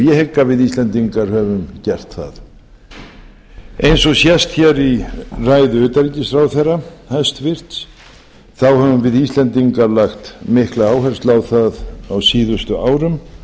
ég hygg að við íslendingar höfum gert eins og sést hér í ræðu hæstvirts utanríkisráðherra höfum við íslendingar lagt mikla áherslu á það á síðustu árum